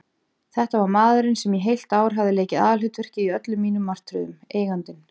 Þetta var maðurinn sem í heilt ár hafði leikið aðalhlutverkið í öllum mínum martröðum: Eigandinn.